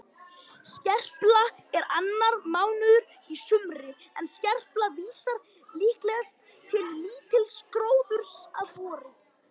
Skerpla er annar mánuður í sumri en skerpla vísar líklegast til lítils gróðurs að vori.